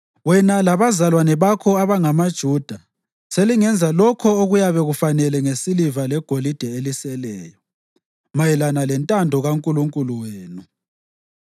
Wena labazalwane bakho abangamaJuda selingenza lokho okuyabe kufanele ngesiliva legolide eliseleyo, mayelana lentando kaNkulunkulu wenu.